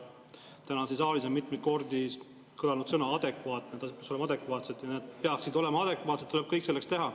Täna siin saalis on mitmeid kordi kõlanud sõna "adekvaatne", see tähendab, et need peaksid olema adekvaatsed ja tuleb kõik selleks teha.